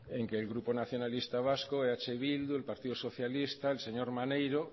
en que el grupo nacionalista vasco eh bildu el partido socialista el señor maneiro